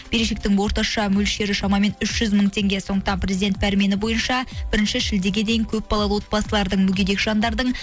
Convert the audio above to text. берешектің орташа мөлшері шамамен үш жүз мың теңге сондықтан президент пәрмені бойынша бірінші шілдеге дейін көпбалалы отбасылардың мүгедек жандардың